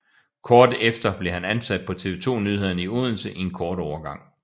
Kort efter blev han ansat på TV 2 Nyhederne i Odense i en kort overgang